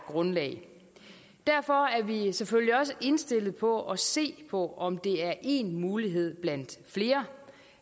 grundlag derfor er vi selvfølgelig også indstillet på at se på om det er én mulighed blandt flere